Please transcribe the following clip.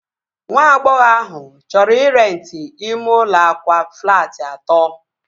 Nwa agbọghọ ahụ chọrọ ị renti ime ụlọ akwa flaati atọ